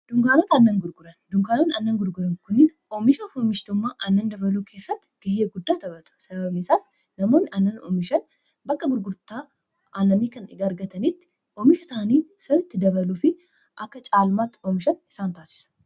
dunkaanota annan gurguran dunkaanoon annan gurguran kuniin oomishaf omishtmmaa annan dabaluu keessatti gahiya guddaa tapatu sabamisaas namoonni annan omishan bakka gurgurtaa aanamni kan igaargatanitti oomisha isaanii siritti dabaluu fi akka caalmaatti oomishan isaan taasasa